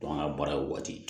an ka baaraw waati